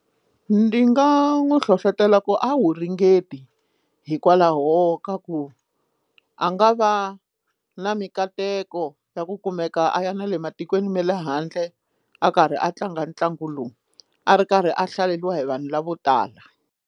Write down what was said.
Ndi nga n'wi hlohlotela ku a wu ringeti hikwalaho ka ku a nga va na mikateko ya ku kumeka a ya na le matikweni ma le handle a karhi a tlanga ntlangu lowu a ri karhi a hlaleriwa hi vanhu lavo tala.